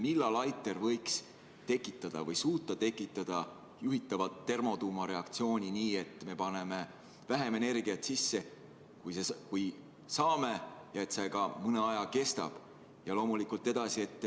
Millal ITER võiks tekitada või suuta tekitada juhitava termotuumareaktsiooni nii, et me paneme sisse vähem energiat, kui saame, ja et see ka mõne aja kestab?